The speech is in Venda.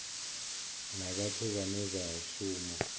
na vhathu vhane vha shuma